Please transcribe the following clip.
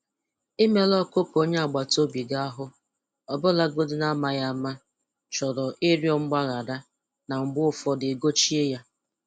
Imerụ ọkụkọ onye agbata obi gị ahụ, ọbụlagodi n'amaghị ama, chọrọ ịrịọ mgbaghara na mgbe ụfọdụ ị gochie ya